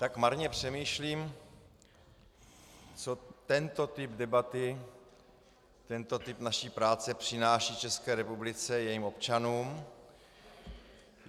Tak marně přemýšlím, co tento typ debaty, tento typ naší práce, přináší České republice, jejím občanům.